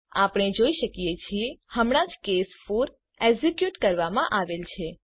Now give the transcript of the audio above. આપણે જોઈ શકીએ છીએ હમણાં જ કેસ 4 એક્ઝીક્યુટ કરવામાં આવેલ છે